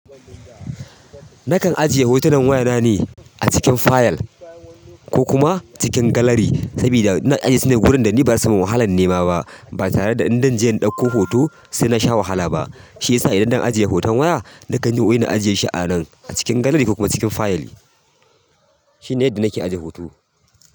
Nakan ajiye hotunan waya na ne a cikin fayal ko kuma cikin gallery, sabida ina ajiye su ne wurin da ni ba na samu wahalan nema ba, ba tare da in dan je in ɗauko hoto sai na sha wahala ba. Shiyasa idan dan ajiye hoton waya nakan ajiyeshi anan a cikin galary ko kuma cikin fayal. Shi ne yadda na ke ajiye hoto.